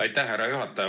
Aitäh, härra juhataja!